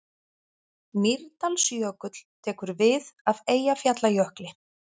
Mýrdalsjökull tekur við af Eyjafjallajökli.